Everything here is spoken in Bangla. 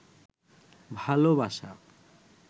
ভালবাসা